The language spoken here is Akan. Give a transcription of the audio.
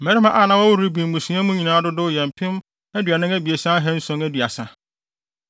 Mmarima a na wɔwɔ Ruben mmusua nyinaa mu no dodow yɛ mpem aduanan abiɛsa ahanson aduasa (43,730).